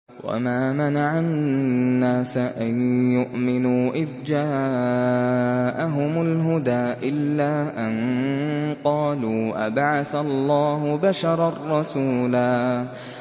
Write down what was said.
وَمَا مَنَعَ النَّاسَ أَن يُؤْمِنُوا إِذْ جَاءَهُمُ الْهُدَىٰ إِلَّا أَن قَالُوا أَبَعَثَ اللَّهُ بَشَرًا رَّسُولًا